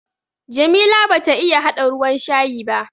Jamila bata iya haɗa ruwan shayi ba.